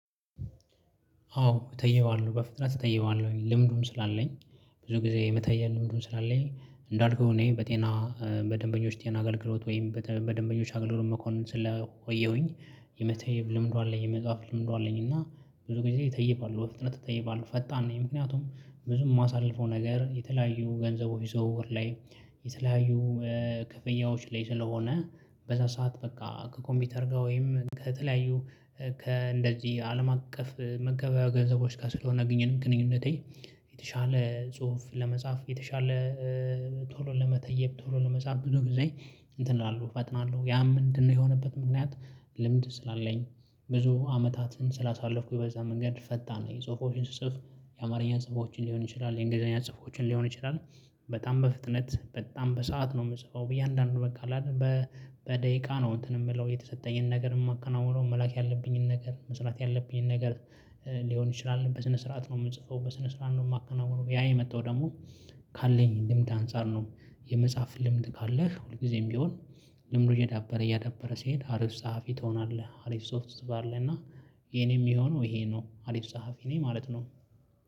አዎ እተየዋለሁ በፍጥነት እተየዋለሁ ልምዱም ስላለኝ ብዙ ጊዜ የመተየ ልምዱ ስላለኝ እንዳልኩህ እኔ በጤና በደንበኞች ጤና አገልግሎት ወይም በደንበኞች አገልግሎት መኮንን ስለቆየሁኝ የመተየብ ልምዱ ላይ የመጽሐፍ ልምዱን አለኝ እና ብዙ ጊዜ እተይባለሁ በፍጥነት እተይባለሁ ፈጣን ነኝ ምክንያቱም ብዙ የማሳልፈው ነገር የተለያዩ ገንዘቦች ዝውውር ላይ። የተለያዩ ክፍያዎች ላይ ስለሆነ በዛ ሰዓት በቃ ከኮምፒውተር ጋር ወይም ከተለያዩ ከእንደዚህ አለም አቀፍ መገበያያ ገንዘቦች ጋር ስለሆነ ግንኙነቴ። የተሻለ ጽሁፍ ለመጻፍ የተሻለ ቶሎ ለመተየብ ቶሎ ለመጻፍ ብዙ ጊዜ እንትን እላለሁ ፈጥናለሁ ያም ምንድነው የሆነበት ምክንያት? ልምድ ስላለኝ ብዙ አመታትን ስላሳለፍኩኝ በዛ መንገድ ፈጣን ነኝ ጽሁፎችን ስጽፍ የአማርኛ ጽሁፎችን ሊሆን ይችላል የእንግሊዘኛ ጽፎችን ሊሆን ይችላል። በጣም በፍጥነት በጣም በሰአት ነው የምጽፈው በየአንዳንድ በቃ በደቂቃ ነው እንትን የምለው የተሰጠኝን ነገር የማከናውነው መላክ ያለብኝን ነገር መስራት ያለብኝን ነገር። ሊሆን ይችላል በስነ ስርዓት ነው የምጽፈው በስነ ስርዓት ነው የማከናውነው ያ የመጣው ደግሞ ካለኝ ልምድ አንፃር ነው። የመጽሐፍ ልምድ ካለህ ሁልጊዜም ቢሆን ልምዱ እየዳበረ እያዳበረ ሲሄድ አሪፍ ጸሐፊ ትሆናለህ። አሪፍ ጽሁፍ ትጽፋለህ እና የኔ የሚሆነው ይሄ ነው አሪፍ ጸሐፊ ነኝ ማለት ነው